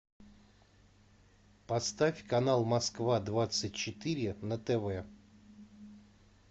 поставь канал москва двадцать четыре на тв